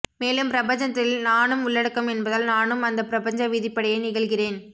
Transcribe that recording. மேலும் பிரபஞ்சத்தில் நானும் உள்ளடக்கம் என்பதால் நானும் அந்தப் பிரபஞ்ச விதிப்படியே நிகழ்கிறேன்